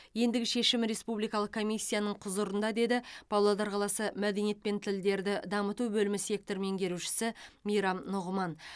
ендігі шешім республикалық комиссияның құзырында деді павлодар қаласы мәдениет және тілдерді дамыту бөлімінің сектор меңгерушісі мейрам нұғыман